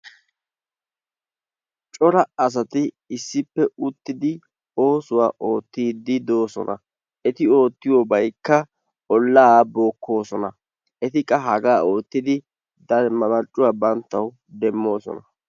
Cora asati issippe uttidi oosuwaa oottidi dosona. Eti oottiyiyobaykka ollaa bookkoosona. Eti qa hagaa oottidi bantta marccuwaa banttawu demmoosona.